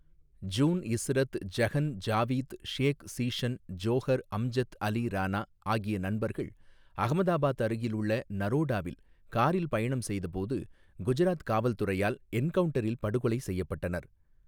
June Ishrat Jahan Javed Sheikh Zeeshan Johar Amjad Ali Rana ஆகிய நண்பர்கள் அகமதாபாத் அருகில் உள்ள நரோடாவில் காரில் பயணம் செய்த போது குஜராத் காவல் துறையால் என்கவுண்டரில் படுகொலை செய்யப்பட்டனர்.